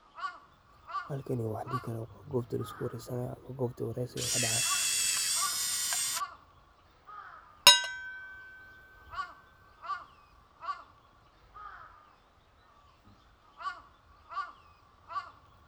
Podcast-yadu waa barnaamijyo cod ah oo lagu duubo lana faafiyo si dadku uga dhageystaan internet-ka, waxaana ay noqdeen mid si aad ah caan uga noqday guud ahaan dunida, gaar ahaan marka la eego in ay dadka siiyaan fursad ay kaga faa’iideystaan aqoon, madadaalo, iyo warbixin kala duwan xilli kasta iyo meel kasta oo ay joogaan.